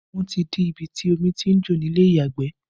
Wọn ti dí ibi tí omi tí ń jò ni ilé ìyàgbẹ̀